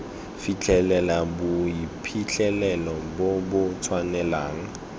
fitlhelela boiphitlhelelo bo bo tswelelang